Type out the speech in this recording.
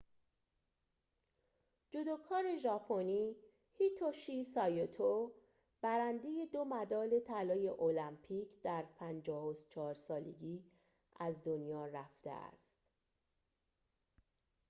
جودوکار ژاپنی هیتوشی سایتو برنده دو مدال طلای المپیک در ۵۴ سالگی از دنیا رفته است